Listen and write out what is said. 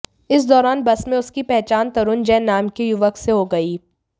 इस दौरान बस में उसकी पहचान तरुण जैन नाम के युवक से हो गयी